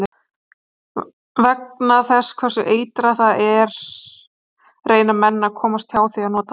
Vegna þess hversu eitrað það er reyna menn að komast hjá því að nota það.